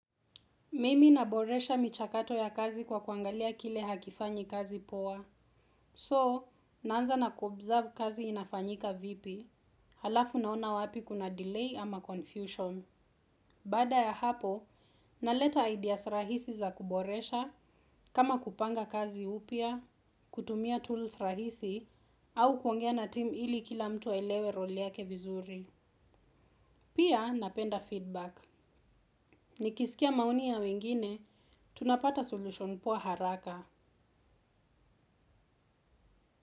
Mimi naboresha michakato ya kazi kwa kuangalia kile hakifanyi kazi poa. So, naanza na ku observe kazi inafanyika vipi, halafu naona wapi kuna delay ama confusion. Baada ya hapo, naleta ideas rahisi za kuboresha kama kupanga kazi upya, kutumia tools rahisi au kuongea natimu ili kila mtu aelewe roll yake vizuri. Pia napenda feedback. Nikisikia maoni ya wengine, tunapata solution poa haraka.